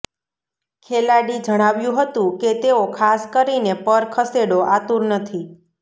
ખેલાડી જણાવ્યું હતું કે તેઓ ખાસ કરીને પર ખસેડો આતુર નથી